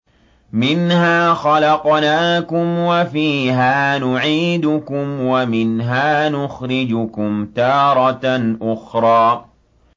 ۞ مِنْهَا خَلَقْنَاكُمْ وَفِيهَا نُعِيدُكُمْ وَمِنْهَا نُخْرِجُكُمْ تَارَةً أُخْرَىٰ